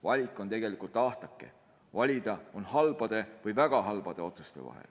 Valik on tegelikult ahtake: valida on halbade ja väga halbade otsuste vahel.